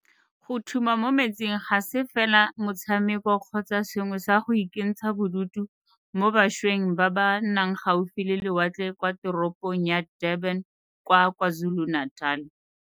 Go thuma mo metsing ga se fela motshameko kgotsa sengwe sa go ikentsha bodutu mo bašweng ba ba nnang gaufi le lewatle kwa teropong ya Durban kwa KwaZulu-Natal.